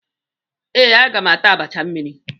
Ee, agam ata abacha mmiri.